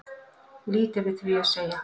Lítið við því að segja